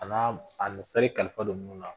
An'a kalifa don ninnu na